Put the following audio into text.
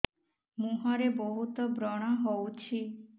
ମୁଁହରେ ବହୁତ ବ୍ରଣ ହଉଛି